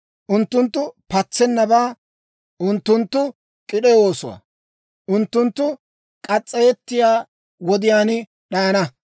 Unttunttu patsennabaa; unttunttu k'id'e oosuwaa. Unttunttu murettiyaa wodiyaan d'ayana.